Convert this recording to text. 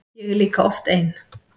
Ég er líka oft ein.